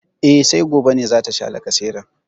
E, sai gobe ne za ta sha lacaseran.